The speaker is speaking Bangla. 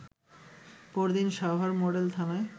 পরদিন সাভার মডেল থানায়